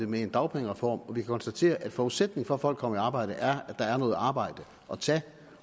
med en dagpengereform og vi kan konstatere at forudsætningen for at folk kommer i arbejde er at der er noget arbejde at tage